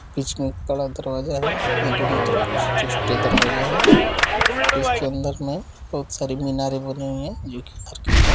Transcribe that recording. बीच में एक बड़ा दरवाज़ा है दोनों तरफ छोटे-छोटे दरवाज़े हैं इसके अंदर में बहोत -सी मिनारे बनी हुई हैं जो की हैं।